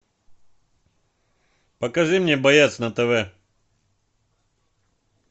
покажи мне боец на тв